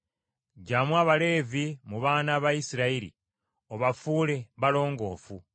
“Ggyamu Abaleevi mu baana ba Isirayiri, obafuule balongoofu.